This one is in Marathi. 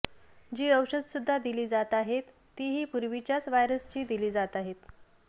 जी औषध सुद्धा दिली जात आहेत तीही पूर्वीच्याच व्हायरसची दिली जात आहेत